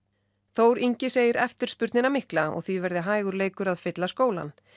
Þór Ingi segir eftirspurnina vera mikla og því verði hægur leikur að fylla skólann